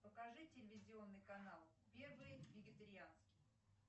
покажи телевизионный канал первый вегетарианский